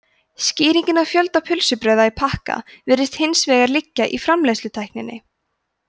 skýringin á fjölda pylsubrauða í pakka virðist hins vegar liggja í framleiðslutækninni